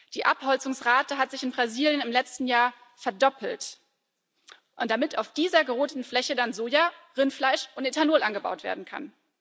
Die Abholzungsrate hat sich in Brasilien im letzten Jahr verdoppelt, damit auf dieser großen Fläche dann Soja, Rindfleisch und Rohstoff für Ethanol angebaut werden kann.